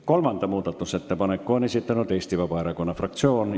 Kolmanda muudatusettepaneku on esitanud Eesti Vabaerakonna fraktsioon.